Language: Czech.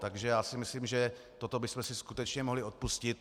Takže já si myslím, že toto bychom si skutečně mohli odpustit.